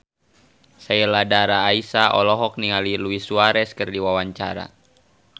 Sheila Dara Aisha olohok ningali Luis Suarez keur diwawancara